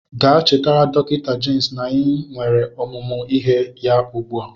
Gaa chetara dọktọ Jemis na anyị nwere ọmụmụ ihe ya ugbu a!